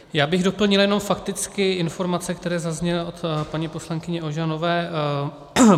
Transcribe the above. Já bych doplnil jenom fakticky informace, které zazněly od paní poslankyně Ožanové.